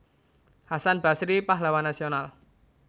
Hasan Basry Pahlawan Nasional